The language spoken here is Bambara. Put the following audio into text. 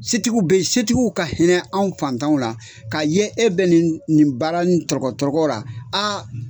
Setigiw beyi setigiw ka hinɛ anw fantanw la k'a ye e bɛ nin nin baara ni dɔgɔtɔrɔ la a.